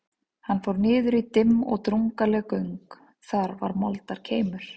Hann fór niður í dimm og drungaleg göng, þar var moldarkeimur.